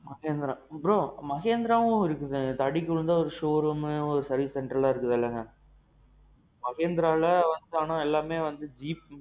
Mahindra. bro. Mahindraவும் இருக்கு இல்ல தடுக்கி விழுந்தா showroom service centerலாம் இருக்குதுல? Mahindraல ஆனா எல்லாமே வந்து Jeep.